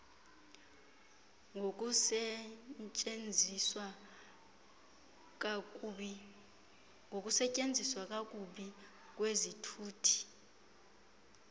ngokusetyenziswa kakubi kwezithuthi